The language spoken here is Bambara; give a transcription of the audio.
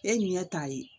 E ɲɛ t'a ye